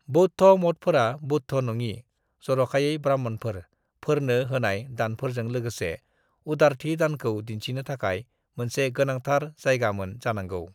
बौद्ध मठफोरा बौद्धों-नङि (जरखायै ब्राह्मणफोर)फोरनो होनाय दानफोरजों लोगोसे उदारथि दानखौ दिन्थिनो थाखाय मोनसे गोनांथार जायगामोन जानांगौ।